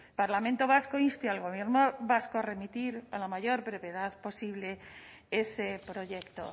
parlamento vasco inste al gobierno vasco a remitir a la mayor brevedad posible ese proyecto